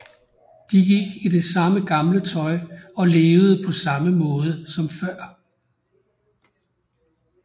De gik i det samme gamle tøj og levede på samme måde som før